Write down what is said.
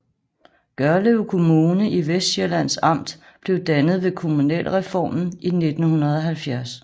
Gørlev Kommune i Vestsjællands Amt blev dannet ved kommunalreformen i 1970